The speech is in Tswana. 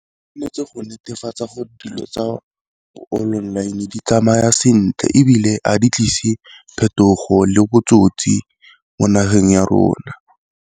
go netefatsa gore dilo tsa online di tsamaya sentle, ebile a di tlise phetogo le botsotsi mo nageng ya rona.